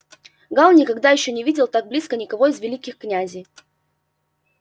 гаал никогда ещё не видел так близко никого из великих князей